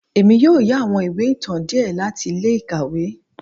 Èmí yóò yà àwọn ìwé ìtàn diẹ láti ilé-ikáwe